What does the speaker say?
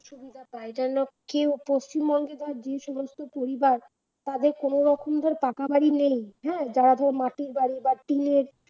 সুবিধা পাই যেন কেউ পশ্চিমবঙ্গে বা যে সমস্ত পরিবার তাদের কোন রকম ধর পাকা বাড়ি নেই হ্যাঁ যারা ধর মাটির বাড়ি বা টিনের